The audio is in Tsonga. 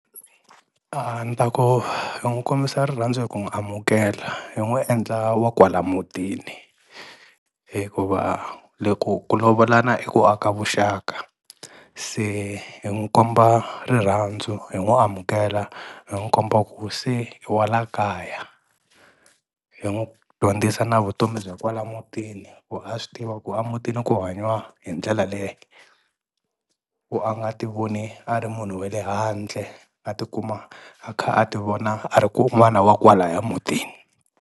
A ni ta ku hi n'wu kombisa rirhandzu hi ku n'wi amukela hi n'wu endla wa kwala mutini hikuva le ku ku lovolana i ku aka vuxaka, se hi n'wi komba rirhandzu hi n'wu amukela hi n'wu komba ku se i wa la kaya, hi n'wu dyondzisa na vutomi bya kwala mutini, ku a swi tiva ku a mutini ku hanyiwa hi ndlela leye, ku a nga ti voni a ri munhu wele handle a tikuma a kha a ti vona a ri kun'wana wa kwalaya mutini.